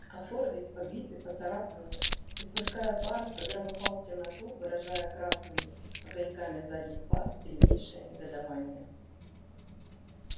а фордик побитый поцарапанный испуская пар загромыхал в темноту выражая красными огоньками задних фар сильнейшее негодование